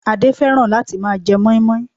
Adé fẹ́ràn láti máa je mọ́ímọ́í